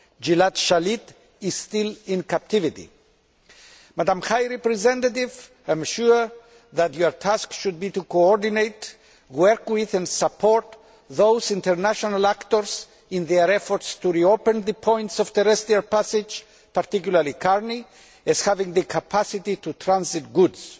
Gilad Shalit is still in captivity. Madam High Representative, I am sure that your task should be to coordinate, work with and support those international actors in their efforts to reopen the points of terrestrial passage, particularly Karni, that have the capacity to transit goods.